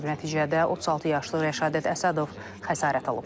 Nəticədə 36 yaşlı Rəşadət Əsədov xəsarət alıb.